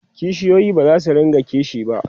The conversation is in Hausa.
kishiyoyi bazasu rinka kishi ba